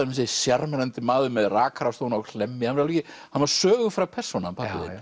þessi sjarmerandi maður með rakarastofuna á Hlemmi hann var sögufræg persóna